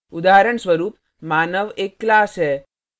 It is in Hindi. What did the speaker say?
उदाहरणस्वरूप मानव एक class है